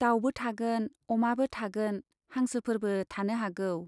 दाउबो थागोन, अमाबो थागोन, हांसोफोरबो थानो हागौ !